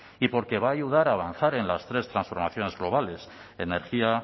y porque va a ayudar a avanzar en las tres transformarlas globales energía